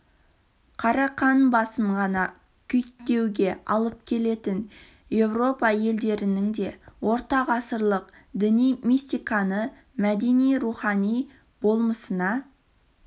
қарақан басын ғана күйттеуге алып келетін еуропа елдерінің де орта ғасырлық діни мистиканы мәдени-рухани болмысына